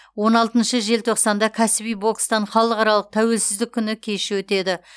он алтыншы желтоқсанда кәсіби бокстан халықаралық тәуелсіздік күні кеші өтеді